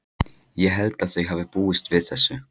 Ég held að þau hafi búist við þessu.